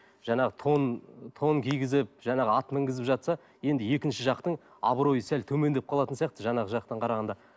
жаңағы тон тон кигізіп жаңағы ат мінгізіп жатса енді екінші жақтың абыройы сәл төмендеп қалатын сияқты жаңағы жақтан қарағанда